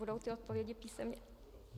Budou ty odpovědi písemně?